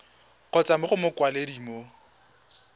kgotsa mo go mokwaledi mo